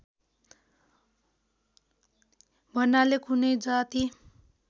भन्नाले कुनै जाति